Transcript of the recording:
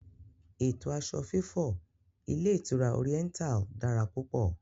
Ètò aṣọ fífọ̀ ilé ìtura Oriental dára púpò